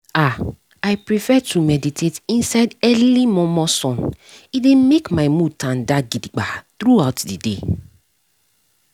ah i prefer to dey meditate inside early momo sun e dey make my mood tanda gidigba throughout the day